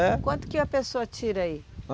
É. Quanto que a pessoa tira aí?